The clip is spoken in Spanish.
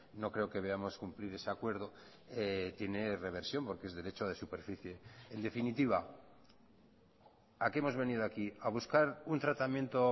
no creo que veamos cumplir ese acuerdo tiene reversión porque es derecho de superficie en definitiva a qué hemos venido aquí a buscar un tratamiento